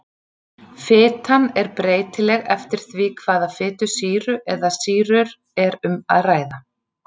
Fitan er breytileg eftir því hvaða fitusýru eða sýrur er um að ræða.